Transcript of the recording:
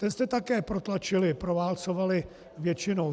Ten jste také protlačili, proválcovali většinou.